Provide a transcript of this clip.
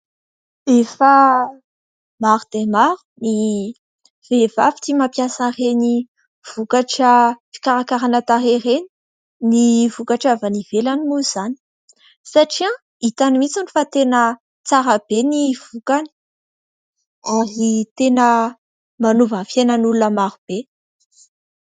Efa maro dia maro ny vehivavy tia mampiasa ireny vokatra fikarakarana tarehy ireny, ny vokatra avy any ivelany moa izany. Satria hitany mihitsy fa tena tsara be ny vokany ary tena manova fiainan'olona maro be.